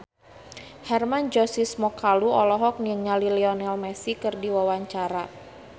Hermann Josis Mokalu olohok ningali Lionel Messi keur diwawancara